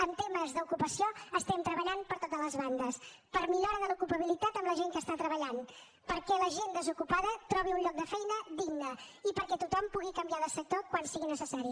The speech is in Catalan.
en temes d’ocupació estem treballant per totes les bandes per millora de l’ocupabilitat amb la gent que està treballant perquè la gent desocupada trobi un lloc de feina digne i perquè tothom pugui canviar de sector quan sigui necessari